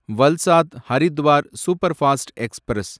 Valsad Haridwar superfast express